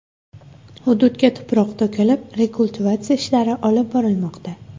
Hududga tuproq to‘kilib, rekultivatsiya ishlari olib borilmoqda.